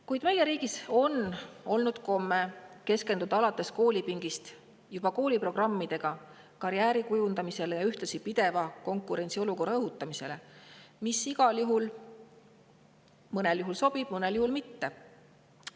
Kuid meie riigis on olnud komme alates juba koolipingist, kooliprogrammide abil keskenduda karjääri kujundamisele, ja ühtlasi õhutada pidevat konkurentsiolukorda, mis mõnel juhul sobib, mõnel juhul mitte.